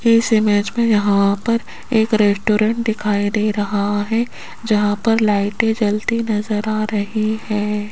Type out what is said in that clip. इस इमेज में यहां पर एक रेस्टोरेंट दिखाई दे रहा है जहां पर लाइट जलती नजर आ रही है।